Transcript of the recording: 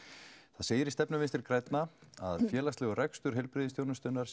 það segir í stefnu vinstri grænna að félagslegur rekstur heilbrigðisþjónustunnar